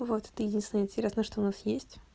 вот это единственное интересное что у нас есть